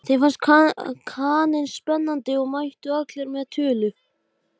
Innskotin eru greind í nokkra flokka eftir stærð og lögun.